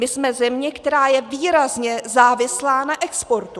My jsme země, která je výrazně závislá na exportu.